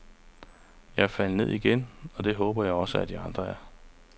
Jeg er faldet ned igen, og det håber jeg også, at de andre er.